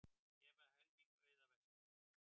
Gefa helming auðæfa sinna